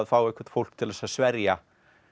fá eitthvert fólk til að sverja